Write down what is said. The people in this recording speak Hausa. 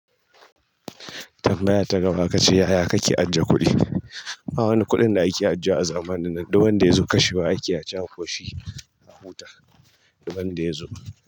Tambaya ta gaba akace yaya kake ajjiye kuɗi? Ba wani kuɗin da ake ajiyewa a zamanin nan, duk wanda ya zo kashewa ake a ci a koshi a huta duban da ya zo.